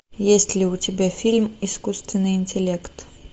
есть ли у тебя фильм искусственный интеллект